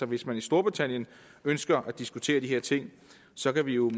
hvis man i storbritannien ønsker at diskutere de her ting så kan vi jo